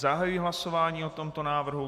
Zahajuji hlasování o tomto návrhu.